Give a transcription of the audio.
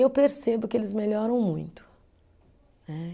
Eu percebo que eles melhoram muito, né